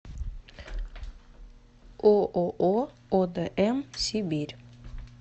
ооо одм сибирь